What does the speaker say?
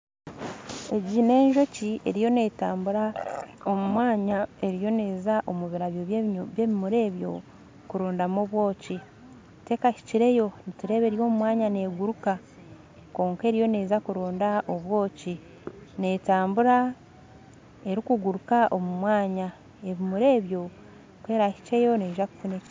Egi nenjoki eriyo netambura omumwanya eriyo neza omubirabyo by'ebimuri ebyo kurondamu obwoki tekahikireyo eri omumwanya neguruka kwonka eriyo neza kurondamu obwoki ebimuri ebyo ku erahikyeyo neeza kufuna